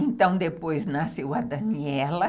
Então, depois nasceu a Daniela.